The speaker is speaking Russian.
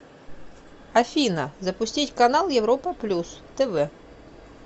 афина запустить канал европа плюс тв